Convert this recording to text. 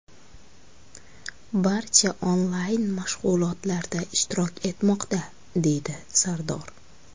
Barcha onlayn mashg‘ulotlarda ishtirok etmoqda”, deydi Sardor.